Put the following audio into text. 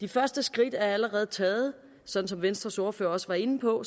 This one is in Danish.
de første skridt er allerede taget sådan som venstres ordfører også var inde på